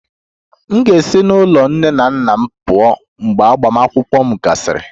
M ga-esi n'ụlọ nne na nna m pụọ mgbe agbamakwụkwọ m gasịrị